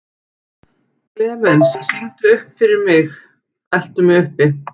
Klemens, syngdu fyrir mig „Eltu mig uppi“.